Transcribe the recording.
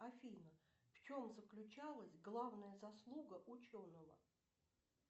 афина в чем заключалась главная заслуга ученого